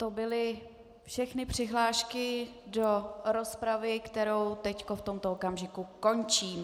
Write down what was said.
To byly všechny přihlášky do rozpravy, kterou teď v tomto okamžiku končím.